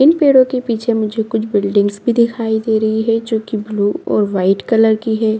इन पेड़ो के पीछे मुझे कुछ बिल्डिंगस भी दिखाई दे रही है जो कि ब्लू और व्हाईट कलर की है।